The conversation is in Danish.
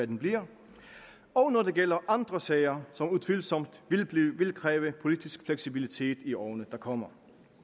den bliver og når det gælder andre sager som utvivlsomt vil kræve politisk fleksibilitet i årene der kommer